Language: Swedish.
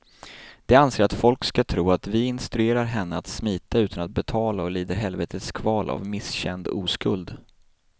De anser att folk ska tro att vi instruerar henne att smita utan att betala och lider helvetes kval av misskänd oskuld.